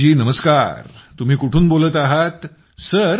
सुखदेवीजी नमस्कार तुम्ही कुठून बोलत आहात